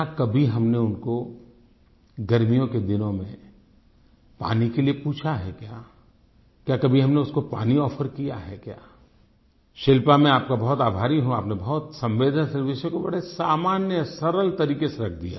क्या कभी हमने उनको गर्मियों के दिनों मे पानी के लिए पूछा है क्या क्या कभी हमने उसको पानी आफर किया है क्या शिल्पा मैं आप का बहुत आभारी हूँ आपने बहुत संवेदनशील विषय को बड़े सामान्य सरल तरीके से रख दिया